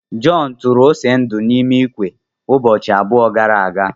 John tụrụ ose ndu n'ime ikwe ụbọchị abụọ gara aga.